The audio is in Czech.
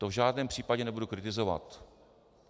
To v žádném případě nebudu kritizovat.